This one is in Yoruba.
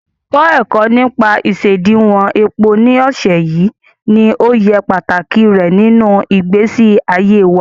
Kọ́ ẹ̀kọ́ nípa isediwon epo ní ọ̀sẹ̀ yìí, ní òye pàtàkì rẹ̀ nínú ìgbésí ayé wa.